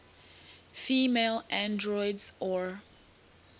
female androids or